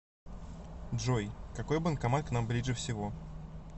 джой какой банкомат к нам ближе всего